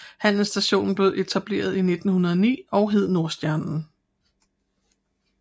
Handelsstationen blev etableret i 1909 og hed Nordstjernen